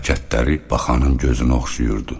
Hərəkətləri baxanın gözünü oxşayırdı.